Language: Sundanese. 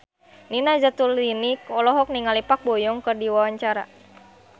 Nina Zatulini olohok ningali Park Bo Yung keur diwawancara